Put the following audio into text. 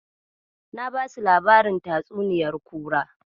Na basu labarin tatsuniyar kura.